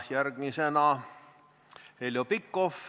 Järgmisena Heljo Pikhof.